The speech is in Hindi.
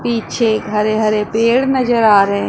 पिछे हरे हरे पेड़ नजर आ रहे--